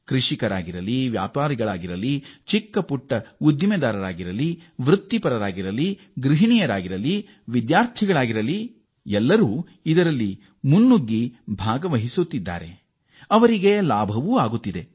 ರೈತರು ವ್ಯಾಪಾರಿಗಳು ಸಣ್ಣ ಉದ್ದಿಮೆಗಳು ವೃತ್ತಿಪರರು ಗೃಹಿಣಿಯರು ವಿದ್ಯಾರ್ಥಿಗಳು ಎಲ್ಲರೂ ಉತ್ಸಾಹದಿಂದ ಇದರಲ್ಲಿ ಭಾಗಿಗಳಾಗಿ ಲಾಭ ಪಡೆಯುತ್ತಿದ್ದಾರೆ